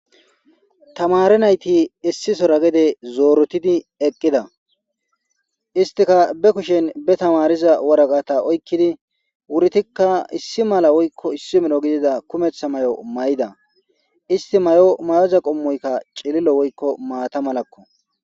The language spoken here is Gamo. tamari nayti issi sora gede zoorotidi eqqida istika be kushen be tamariza woraga ta oykkidi wurtikka issi mala woykko issi mino gidida kumetha may7o may7da isti may7o mayoza qommoykka cilillo woykko maata malakko